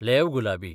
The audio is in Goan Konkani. लेव्ह गुलाबी